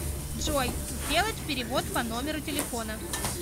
джой сделать перевод по номеру телефона